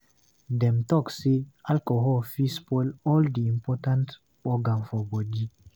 Dem talk sey alcohol fit spoil all di important organ for bodi.